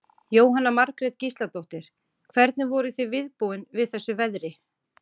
Jóhanna Margrét Gísladóttir: Hvernig voruð þið viðbúin við þessu veðri?